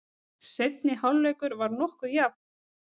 Seinni hálfleikur var nokkuð jafn.